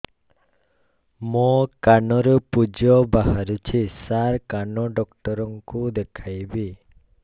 ମୋ କାନରୁ ପୁଜ ବାହାରୁଛି ସାର କାନ ଡକ୍ଟର କୁ ଦେଖାଇବି